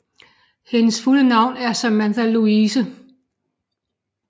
Hendes fulde navn er Samantha Louise